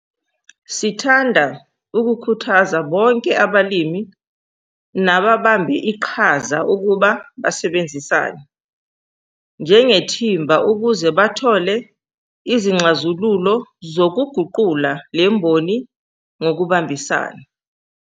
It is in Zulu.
Sithanda ukukhuthaza bonke abalimi nababambe iqhaza ukuba basebenzisane njengethimba ukuze bathole izixhazululo zokuguqula le mboni ngokubambisana.